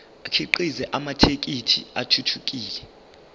akhiqize amathekisthi athuthukile